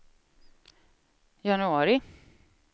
januari